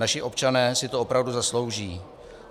Naši občané si to opravdu zaslouží.